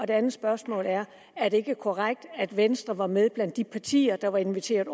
det andet spørgsmål er er det ikke korrekt at venstre var med blandt de partier der var inviteret